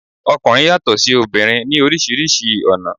Ọkùnrin yàtò sí obìnrin ní orísìírísìí ọ̀nà